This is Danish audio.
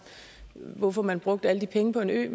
hvorfor man vil bruge alle de penge på en ø